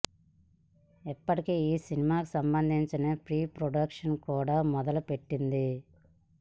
ఇప్పటికే ఈ సినిమాకు సంబందించిన ప్రీ ప్రొడక్షన్ కూడా మొదలు పెట్టింది